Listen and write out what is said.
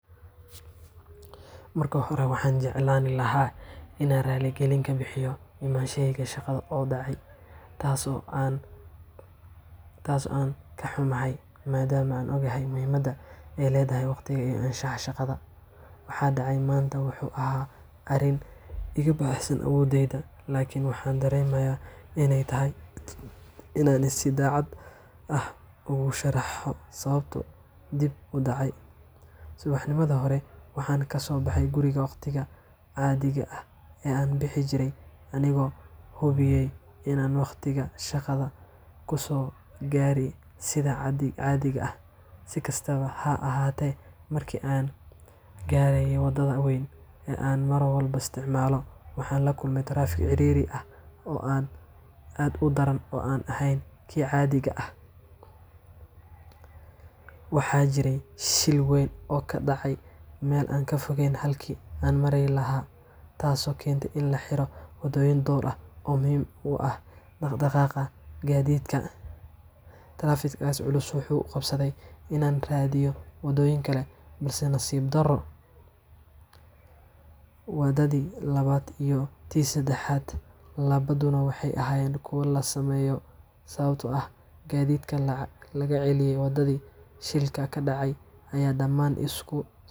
Marka hore, waxaan jeclaan lahaa inaan raali gelin ka bixiyo imaanshahayga shaqada oo dhacay, taas oo aan ka xumahay, maadaama aan ogahay muhiimadda ay leedahay waqtiga iyo anshaxa shaqada. Waxa dhacay maanta wuxuu ahaa arrin iga baxsan awooddayda, laakiin waxaan dareemayaa in ay tahay inaan si daacad ah ugu sharaxo sababta dib u dhaca. Subaxnimadii hore waxaan kasoo baxay guriga waqtigii caadiga ahaa ee aan bixin jiray, anigoo hubiyay in aan wakhtiga shaqada kusoo gaaro sida caadiga ah. Si kastaba ha ahaatee, markii aan gaaray wadada weyn ee aan mar walba isticmaalo, waxaan la kulmay taraafik ciriiri ah oo aad u daran oo aan ahayn kii caadiga ahaa. Waxaa jiray shil weyn oo ka dhacay meel aan ka fogeyn halkii aan mari lahaa, taas oo keentay in la xiro waddooyin dhowr ah oo muhiim u ahaa dhaq-dhaqaaqa gaadiidka. Taraafikadaas culus waxay igu qasbtay inaan raadiyo wadooyin kale, balse nasiib darro, wadadii labaad iyo tii saddexaad labaduba waxay ahaayeen kuwo la saameeyay, sababtoo ah gaadiidkii laga celiyay waddadii shilka ka dhacay ayaa dhammaan isku.